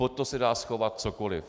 Pod to se dá schovat cokoli.